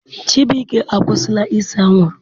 Chibuike akwụsila ise anwụrụ.